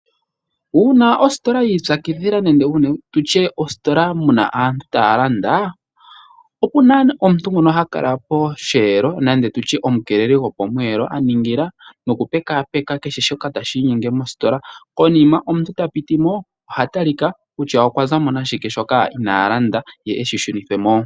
Uuna ositola yi ipyakidhila nenge tutye uuna mositola mu na aantu taya landa, ohatu kala tu na omukeeleli gwopomweelo a ningila okupekaapeka kehe shoka tashi inyenge mositola. Omuntu ngele ta piti mo mositola oha talika ngele oku na sha shoka ina landa, opo eshi shunithwe mo mositola.